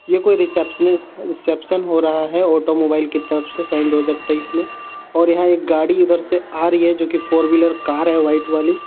ये कुछ receptionist reception हो रहा हे ऑटो मोबाइल की तरफ से सन् दो हजार तेइस में और यहाँ एक गाडी उधर से आ रही हे जोकि फॉर व्हीलर कार है वाइट वाली.